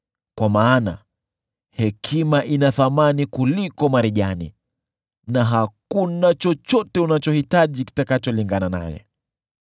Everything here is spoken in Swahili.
kwa maana hekima ina thamani kuliko marijani na hakuna chochote unachohitaji kinacholingana naye.